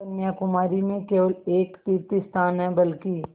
कन्याकुमारी में केवल एक तीर्थस्थान है बल्कि